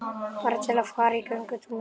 Bara til að fara í göngutúr með þau.